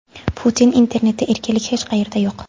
Putin: Internetda erkinlik hech qayerda yo‘q.